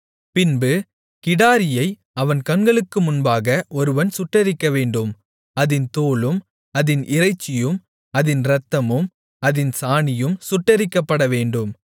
பின்பு கிடாரியை அவன் கண்களுக்கு முன்பாக ஒருவன் சுட்டெரிக்கவேண்டும் அதின் தோலும் அதின் இறைச்சியும் அதின் இரத்தமும் அதின் சாணியும் சுட்டெரிக்கப்படவேண்டும்